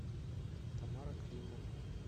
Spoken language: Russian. тамара климова